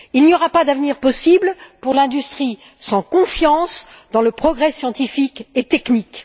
Il n'y aura pas d'avenir possible pour l'industrie sans confiance dans le progrès scientifique et technique.